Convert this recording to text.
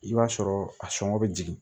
I b'a sɔrɔ a sɔngɔ be jigin